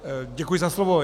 Děkuji za slovo.